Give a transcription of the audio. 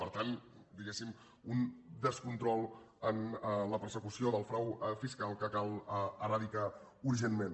per tant diguéssim un descontrol en la persecució del frau fiscal que cal eradicar urgentment